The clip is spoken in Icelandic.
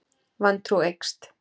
Vantrú eykst.